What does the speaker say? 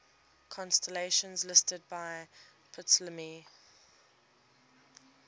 constellations listed by ptolemy